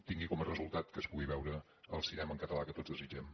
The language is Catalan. tingui com a resultat que es pugui veure el cinema en català que tots desitgem